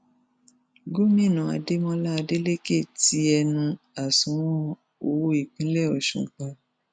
gomina adémọlá adélèkẹ ti ẹnu àsùnwọn owó ìpínlẹ ọṣun pa